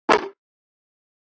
Hvar æfiði þá núna?